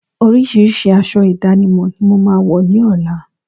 Orísirísi aṣọ ìdánimọ̀ ni mo máa wọ̀ ní ọ̀la